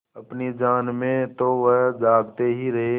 अपनी जान में तो वह जागते ही रहे